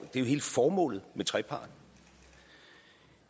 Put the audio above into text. jo hele formålet med trepart